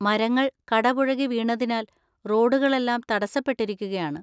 മരങ്ങൾ കടപുഴകി വീണതിനാൽ റോഡുകളെല്ലാം തടസ്സപ്പെട്ടിരിക്കുകയാണ്.